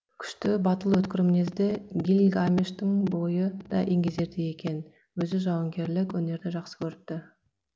күшті батыл өткір мінезді гильгамештің бойы да еңгезердей екен өзі жауынгерлік өнерді жақсы көріпті